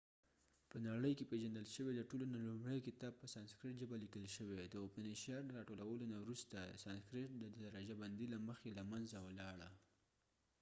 په نړی کې پیژندل شوي د ټولو نه لومړۍ کتاب په سانسکریټ ژبه لیکل شوي ،د اوپنی شاد upanishads د راټولولو نه وروسته سانسکریټ د درجه بندي له مخی له منځه ولاړه